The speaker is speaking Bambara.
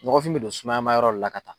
Nɔgɔfin bɛ don sumaya ma yɔrɔ le la ka taa.